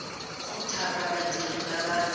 go thapa badiri ba ba